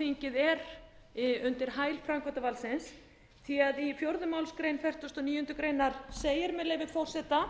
löggjafarþingið er undir hæl framkvæmdarvaldsins því að í fjórðu málsgrein fertugustu og níundu grein segir með leyfi forseta